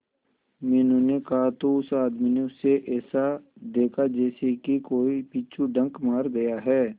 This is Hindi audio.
मीनू ने कहा तो उस आदमी ने उसे ऐसा देखा जैसे कि कोई बिच्छू डंक मार गया है